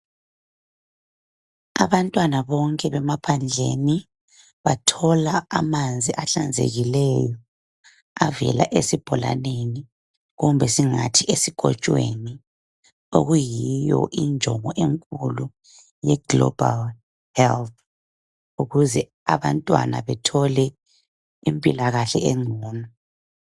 Abantwana bonke emaphandleni bathola amanzi ahlanzekileyo avela esibholaleni kumbe singathi esikotshweni okuyiyo injongo enkulu ye global health ukuze abantwana bethole impilakahle engcono.